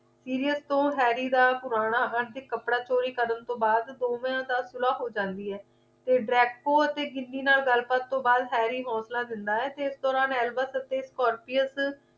serious ਤੋਂ harry ਦਾ ਪੁਰਾਣਾ hunting ਕੱਪੜਾ ਚੋਰੀ ਕਰਨ ਤੋਂ ਬਾਅਦ ਦੋਵਾਂ ਦੀ ਸੁਲਾਹ ਹੋ ਜਾਂਦੀ ਹੈ ਤੇ draco ਅਤੇ ginny ਨਾਲ ਗੱਲ ਬਾਤ ਤੋਂ ਬਾਅਦ harry ਹੌਸਲਾ ਦਿੰਦਾ ਹੈ ਤੇ ਇਸ ਦੇ ਦੌਰਾਨ albert ਅਤੇ scorpies